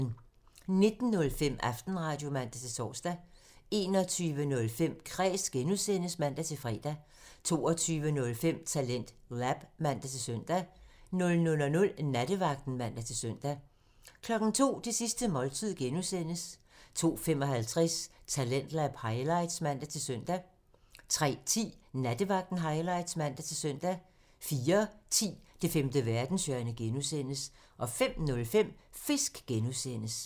19:05: Aftenradio (man-tor) 21:05: Kræs (G) (man-fre) 22:05: TalentLab (man-søn) 00:00: Nattevagten (man-søn) 02:00: Det sidste måltid (G) (man) 02:55: Talentlab highlights (man-søn) 03:10: Nattevagten highlights (man-søn) 04:10: Det femte verdenshjørne (G) (man) 05:05: Fisk (G) (man)